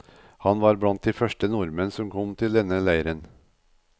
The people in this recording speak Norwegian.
Han var blant de første nordmenn som kom til denne leiren.